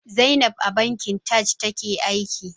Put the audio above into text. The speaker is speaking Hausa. Zainab a bankin Taj take aiki.